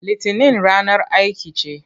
Litinin ranar aiki ce.